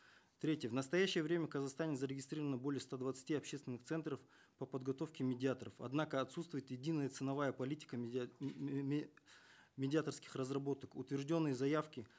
в третьих в настоящее время в казахстане зарегистрировано более ста двадцати общественных центров по подготовке медиаторов однако отсутствует единая ценовая политика медиаторских разработок утвержденные заявки